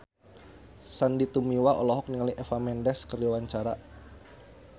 Sandy Tumiwa olohok ningali Eva Mendes keur diwawancara